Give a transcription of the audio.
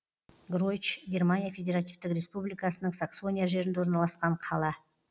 гройч германия федеративтік республикасының саксония жерінде орналасқан қала